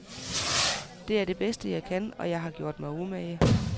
Det er det bedste, jeg kan, og jeg har gjort mig umage.